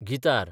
guitar